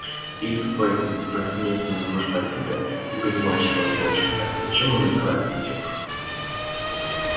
или в поезде наткнётся на нож бандита не понимающего в общем-то зачем он убивает эту девушку